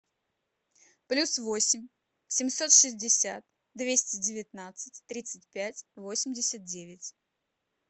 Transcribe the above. плюс восемь семьсот шестьдесят двести девятнадцать тридцать пять восемьдесят девять